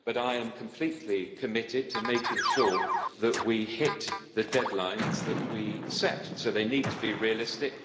But I am completely committed to making sure that we hit the deadlines that we set, so they need to be realistic.